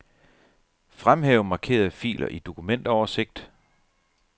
Fremhæv markerede filer i dokumentoversigt.